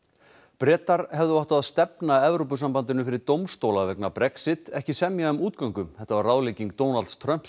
Bretar hefðu átt að stefna Evrópusambandinu fyrir dómstóla vegna Brexit ekki semja um útgöngu þetta var ráðlegging Donalds Trumps